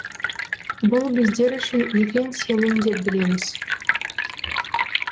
бұл біздер үшін үлкен сенім деп білеміз